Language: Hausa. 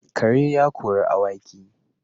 Kare ya kori awaki